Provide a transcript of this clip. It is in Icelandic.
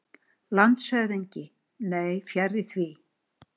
LANDSHÖFÐINGI: Nei, fjarri því.